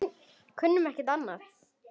Kunnum ekki annað.